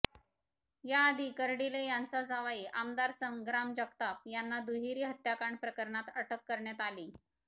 याआधी कर्डिले यांचा जावई आमदार संग्राम जगताप यांना दुहेरी हत्याकांड प्रकरणात अटक करण्यात आलीय